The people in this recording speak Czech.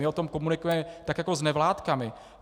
My o tom komunikujeme, tak jako s nevládkami.